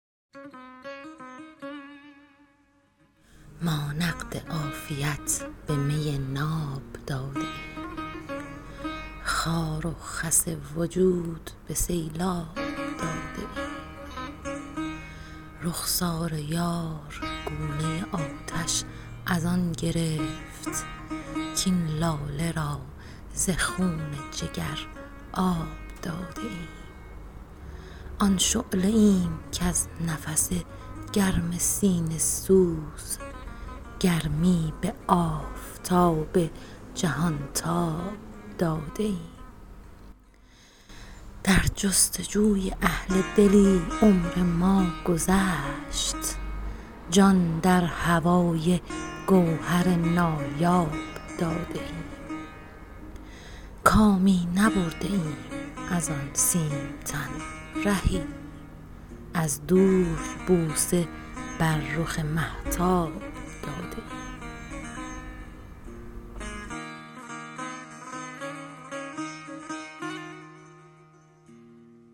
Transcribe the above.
ما نقد عافیت به می ناب داده ایم خار و خس وجود به سیلاب داده ایم رخسار یار گونه آتش از آن گرفت کاین لاله را ز خون جگر آب داده ایم آن شعله ایم کز نفس گرم سینه سوز گرمی به آفتاب جهان تاب داده ایم در جستجوی اهل دلی عمر ما گذشت جان در هوای گوهر نایاب داده ایم کامی نبرده ایم از آن سیم تن رهی از دور بوسه بر رخ مهتاب داده ایم